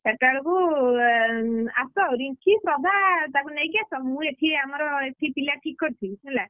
ଚାରିଟା ବେଳକୁ ଆସ ରିଙ୍କି, ଶ୍ରଦ୍ଧା ତାକୁ ନେଇକି ଆସ ମୁଁ ଏଠି ଆମର ଏଠି ପିଲା ଠିକ୍ କରିଥିବି ହେଲା,